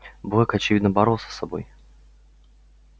блэк очевидно боролся с собой